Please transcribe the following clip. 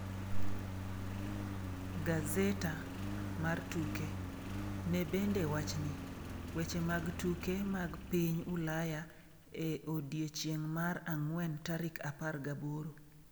(Gazetta mar tuke) Ne bende wachni: Weche mag tuke mag piny Ulaya e odiechieng’ mar ang’wen tarik 18.